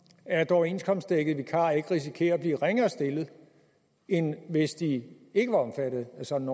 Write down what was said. at overenskomstdækkede vikarer ikke risikerer at blive ringere stillet end hvis de ikke var omfattet af sådan